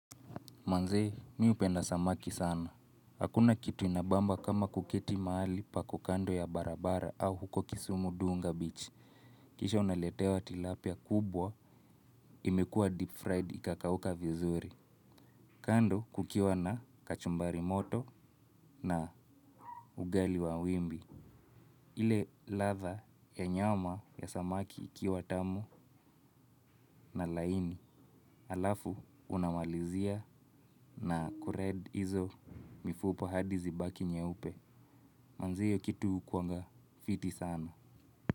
Manze, mi upenda samaki sana. Hakuna kitu inabamba kama kuketi maali pako kando ya barabara au huko kisumu Dunga Beach. Kisha unaletewa tilapia kubwa, imekua deep fried ikakauka vizuri. Kando kukiwa na kachumbari moto na ugali wa wimbi. Ile latha ya nyama ya samaki ikiwa tamu na laini. Alafu unamalizia na kured hizo mifupa hadi zibaki nyeupe. Manze hio kitu hukuanga fiti sana.